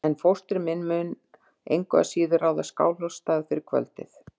En fóstri minn mun engu að síður ráða Skálholtsstað fyrir kvöldið.